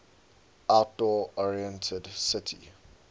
outdoor oriented city